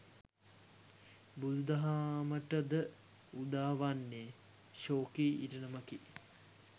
බුදුදහමට ද උදාවන්නේ ශෝකී ඉරණමකි.